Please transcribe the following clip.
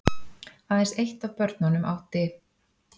Aðeins eitt af börnunum átti